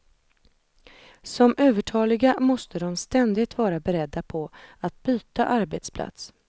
Som övertaliga måste de ständigt vara beredda på att byta arbetsplats.